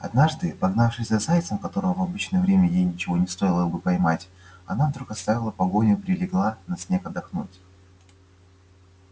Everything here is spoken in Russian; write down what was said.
однажды погнавшись за зайцем которого в обычное время ей ничего не стоило бы поймать она вдруг оставила погоню и прилегла на снег отдохнуть